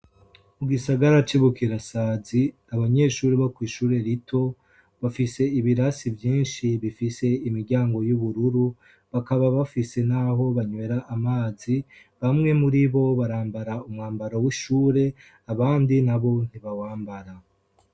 Mu gisagara c'ibukirasazi abanyeshuri bo kw'ishure rito bafise ibirasi vyinshi bifise imiryango y'ubururu bakaba bafise, naho banywera amazi bamwe muri bo barambara umwambaro w'ishure abandi na bo ntibawambara.